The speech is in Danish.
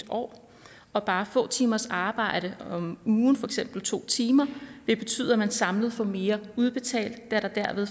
år og bare få timers arbejde om ugen for eksempel to timer vil betyde at man samlet får mere udbetalt da der derved